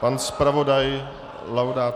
Pan zpravodaj Laudát?